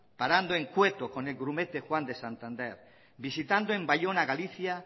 parando en cueto con el grumete juan de santander visitando en bayona galicia